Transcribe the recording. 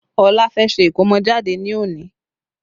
Ọlá fẹ́ ṣe ikomojade ní òní